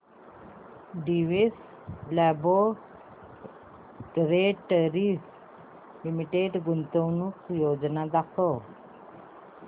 Divi's laboratories limited गुंतवणूक योजना दाखव